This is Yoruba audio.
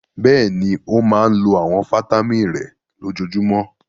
Bẹ́ẹ̀ni, ó máa lo àwọn fataímìn rẹ̀ lójoojúmọ́.